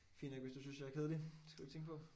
Fint nok hvis du synes jeg er kedelig. Det skal du ikke tænke på